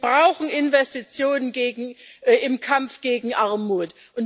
Wir brauchen Investitionen im Kampf gegen Armut.